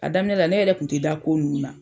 A daminɛ la ne yɛrɛ kun tɛ da ko nunnu na.